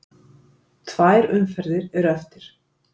Tvær umferðir eru eftir.